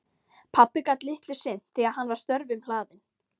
Pabbi gat litlu sinnt því að hann var störfum hlaðinn.